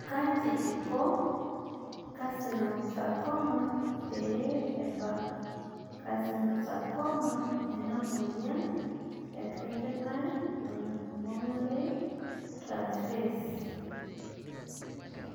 Kaji ikoncarcinosarcoma pee ebakcarcinosarcoma ena moyian e carnitine palmitoyltransferase